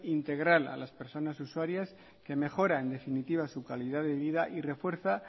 integral a las personas usuarias que mejoran en definitiva su calidad de vida y refuerza